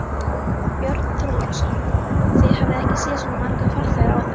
Björn Þorláksson: Þið hafið ekki séð svo marga farþega áður?